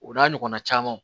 O n'a ɲɔgɔnna camanw